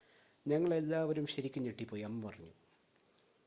"""ഞങ്ങൾ എല്ലാവരും ശരിക്കും ഞെട്ടിപ്പോയി," അമ്മ പറഞ്ഞു.